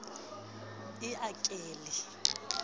e e a ke le